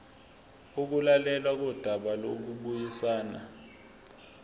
ukulalelwa kodaba lokubuyisana